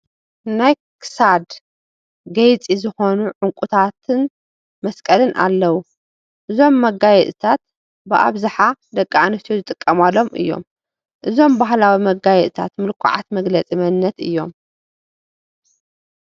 ናይ ክሳድ ገይፂ ዝኾኑ ዕንቁታትን መስቀልን ኣለዉ፡፡ እዞም መጋየፅታት ብኣብዝሓ ደቂ ኣንስትዮ ዝጥቀማሎም እዮም፡፡ እዞም ባህላዊ መጋየፅታት ምልኩዓት መግለፂ መንነት እዮም፡፡